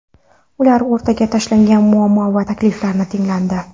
Ular o‘rtaga tashlagan muammo va takliflar tinglandi.